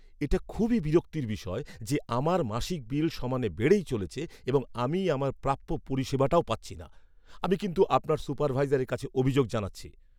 এটা খুবই বিরক্তির বিষয় যে আমার মাসিক বিল সমানে বেড়েই চলেছে এবং আমি আমার প্রাপ্য পরিষেবাটাও পাচ্ছি না। আমি কিন্তু আপনার সুপারভাইজারের কাছে অভিযোগ জানাচ্ছি।